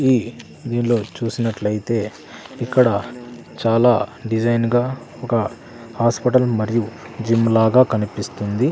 ఈ దీనిలో చూసినట్లు అయితే ఇక్కడ చాలా డిజైన్ గా ఒక హాస్పిటల్ మరియు జిమ్ లాగా కనిపిస్తుంది.